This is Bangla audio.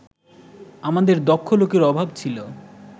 আমাদের দক্ষ লোকের অভাব ছিল